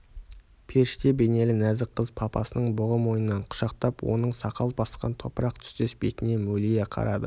періште бейнелі нәзік қыз папасының бұғы мойнынан құшақтап оның сақал басқан топырақ түстес бетіне мөлие қарады